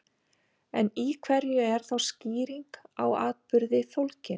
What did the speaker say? En í hverju er þá skýring á atburði fólgin?